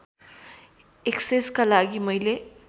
एक्सेसका लागि मैले